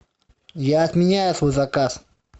я отменяю свой заказ